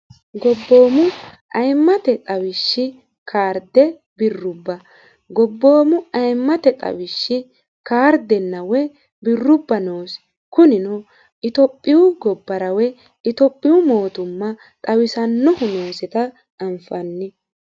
gobboomu ayimmate xawishshi kaarde birrubba gobboomu ayimmate xawishshi kaardena woyi birrubba noosi kunino itophiyu gobbarawe itophiyu mootumma xawisannohu noosita anfanni